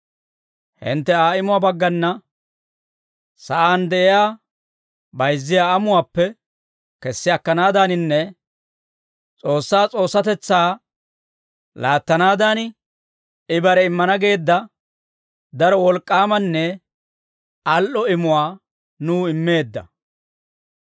Hintte Aa imuwaa baggana sa'aan de'iyaa bayizziyaa amuwaappe kessi akkanaaddaaninne S'oossaa S'oossatetsaa laattanaadan, I bare immana geedda daro wolk'k'aamanne al"o imuwaa nuw immeedda.